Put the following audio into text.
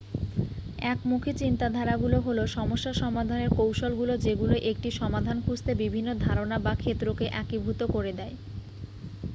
একমুখী চিন্তাধারাগুলো হল সমস্যা সমাধানের কৌশলগুলো যেগুলো একটি সমাধান খুঁজতে বিভিন্ন ধারণা বা ক্ষেত্রকে একীভূত করে দেয়